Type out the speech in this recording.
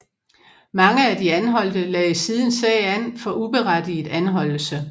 Mange af de anholdte lagde siden sag an for uberettiget anholdelse